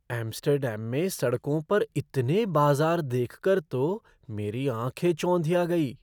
Amsterdam में सड़कों पर इतने बाज़ार देख कर तो मेरी आँखें चौंधिया गई।